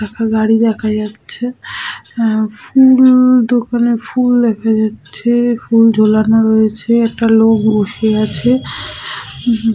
একটা গাড়ি দেখা যাচ্ছে। এ-ফু-ল দোকানে ফুল দেখা যাচ্ছে ফুল ঝোলানো রয়েছে একটা লোক বসে আছে --